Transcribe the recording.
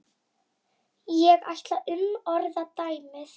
Þannig var það með mömmu.